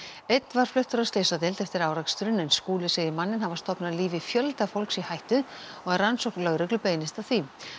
einn var fluttur á slysadeild eftir áreksturinn en Skúli segir manninn hafa stofnað lífi fjölda fólks í hættu og að rannsókn lögreglu beinist að því